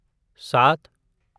सात